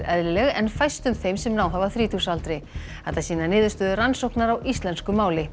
eðlileg en fæstum þeim sem náð hafa þrítugsaldri þetta sýna niðurstöður rannsóknar á íslensku máli